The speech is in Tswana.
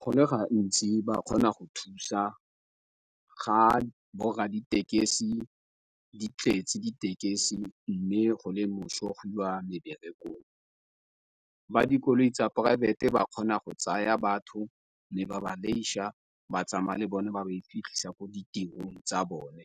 Go ne ga ntsi ba kgona go thusa ga borra ditekesi di tletse ditekesi, mme go le moso go iwa meberekong. Ba dikoloi tsa poraefete ba kgona go tsaya batho le ba ba ba tsamaya le bone ba ba e fitlhisa ko ditirong tsa bone.